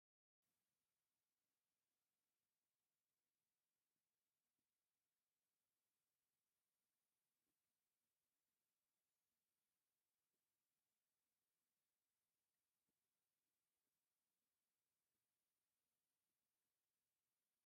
እቲ ፍጹም ምድላዋት ዝተገበረሉ ዘመናውን ገዛ ኣብ ጽቡቕ ህንጻ ኣብ ዝርከብ ህንጻ እዩ። ሓምላይን ፀጥ ዝበለን ቦታ ኮይኑ ይስምዓካ፡ እቲ ገዛ ድማ ደስ ዘብልን ሰላማውን ስምዒት ይህበካ።